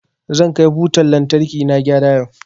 Zan kai butan lantarkina gyara yau.